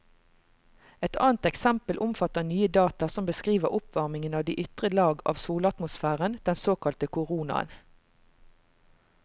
Et annet eksempel omfatter nye data som beskriver oppvarmingen av de ytre lag av solatmosfæren, den såkalte koronaen.